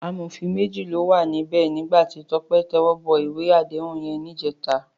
Àmófín méji ló wá nibè nigbá ti Tope tèwòbò iwé àdéhún yèn nijètá